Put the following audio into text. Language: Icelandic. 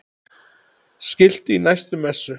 Skilti í næstu messu?